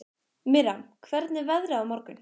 Miriam, hvernig er veðrið á morgun?